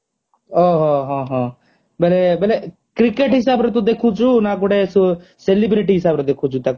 ଓହୋ ହଁ ହଁ ମାନେ ମାନେ କ୍ରିକେଟ ହିସାବରେ ତୁ ଦେଖୁଚୁ ନା ଗୋଟେ celebrity ହିସାବରେ ଦେଖୁଚୁ ତାକୁ